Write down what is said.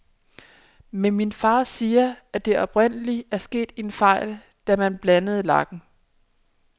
Men min far siger, at der oprindeligt er sket en fejl, da man blandede lakken.